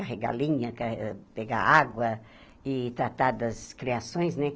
Carregar linha, ca ah pegar água e tratar das criações, né?